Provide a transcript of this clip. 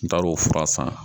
N taar'o fura san